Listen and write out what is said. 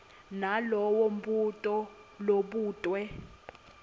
nalowo mbuto lobutwe